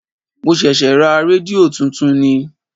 Mo ṣẹ̀ṣẹ̀ ra rédíò tuntun ni.